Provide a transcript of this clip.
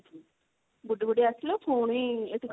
ବୁଡି ବୁଡି ଆସିଲୁ ପୁଣି ଏଠି